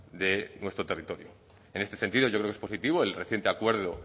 de nuestro territorio en este sentido yo creo que es positivo el reciente acuerdo